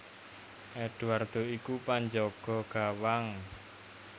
Eduardo iku panjaga gawang